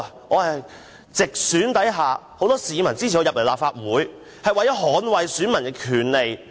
我是在直選下，由很多市民支持進入立法會的，為的是捍衞選民的權利。